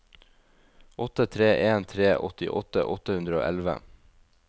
åtte tre en tre åttiåtte åtte hundre og elleve